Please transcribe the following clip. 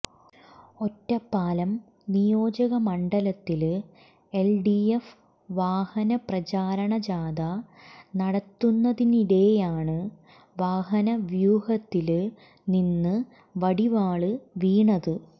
ഒറ്റപ്പാലം നിയോജക മണ്ഡലത്തില് എല്ഡിഎഫ് വാഹന പ്രചരണജാഥ നടത്തുന്നതിനിടെയാണ് വാഹന വ്യൂഹത്തില് നി്ന്ന് വടിവാള് വീണത്